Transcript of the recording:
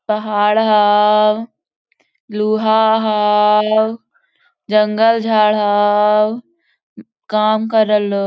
पहाड़ हो लुहा हो जंगल झाड़ हो काम कर रह ले हो।